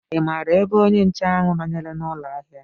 Ị maara ebe onye nche ahụ banyere n'ụlọ ahịa?